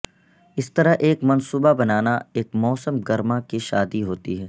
اس طرح ایک منصوبہ بنانا ایک موسم گرما کی شادی ہوتی ہے